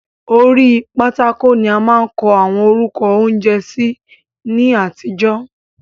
Orí pátákò ni a máa ń kọ àwọn orúkọ oúnjẹ sí ní àtijọ́.